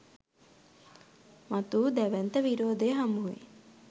මතු වූ දැවැන්ත විරෝධය හමුවේ